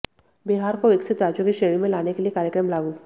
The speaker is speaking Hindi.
बिहार को विकसित राज्यों की श्रेणी में लाने के लिए कार्यक्रम लागू